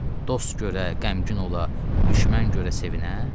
Dost görə qəmgin ola, düşmən görə sevinə?